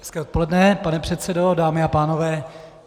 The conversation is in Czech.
Hezké odpoledne, pane předsedo, dámy a pánové.